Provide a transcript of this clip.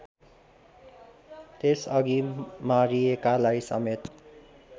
त्यसअघि मारिएकालाई समेत